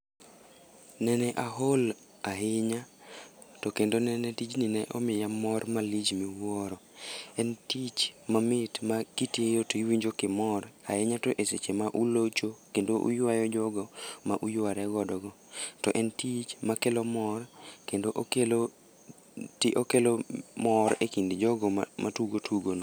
Nene aol ahinya, to kendo nene tijno ne omiya mor malich miwuoro. En tich mamit ma kitiyo to iwinjo ka imor, ahinya to e seche ma ulocho, kendo uywayo jogo ma uyware godo go. To en tich makelo mor, kendo okelo mor e kind jogo matugo tugono.